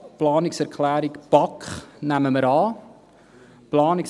Die Planungserklärung BaK nehmen wir an.